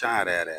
Can yɛrɛ yɛrɛ